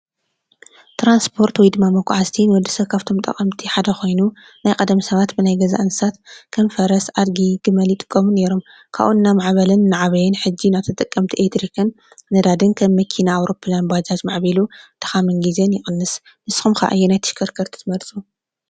ትራስፖርት ውይ ከዓ መጎዓዝቲ ካብቶም ንወዲ ሰብ ጠቀምቲ ሓደ ኮይኑ ናይ ቀደም ሰባት ብናይ ገዛ እንስሳት ከም ፈረስ ፣ኣዲጊ ፣ግመል ዝአምሰሉ ይጥቀሙ ነይሮም። ካብኡ እናማዕበለን እናዓበየን ሕጂ ናብ ተጠቀምቲ ኤሌትርክን፣ ነዳዲን ከም መኪና፣ ኣውሮፕላን ፣ባጃጅ ማዕቢሉ ድካምን ግዜን ይቅንስ። ንስኹም ከ ኣየነይቲ ኣከርከርቲ ትመርፁ?